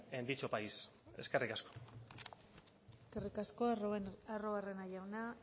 en dicho país eskerrik asko eskerrik asko arruabarrena jauna